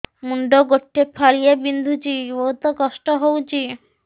ମୁଣ୍ଡ ଗୋଟେ ଫାଳିଆ ବିନ୍ଧୁଚି ବହୁତ କଷ୍ଟ ହଉଚି